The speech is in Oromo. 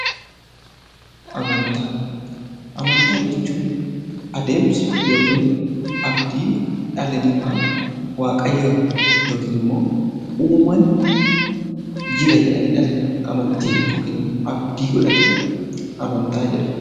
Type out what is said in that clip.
Amantaa Amantaa jechuun adeemsa yookiin abdii dhalli namaa 'waaqayyoon (uumaan) jira' jedhanii dhalli namaa amantii (abdii) godhatan amantaa jedhama.